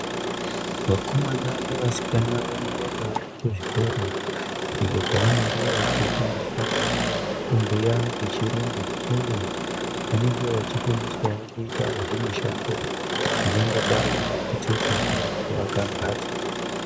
Vakomana nevasikana vanoendao kuzvikora iyo kwavanenge vechifundiswa kubhuya nechirungu uye vanenge vachifundiswao kuita zvimishando zvingangodai nekutsetsa kana kuvaka mbatso.